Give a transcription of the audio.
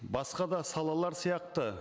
басқа да салалар сияқты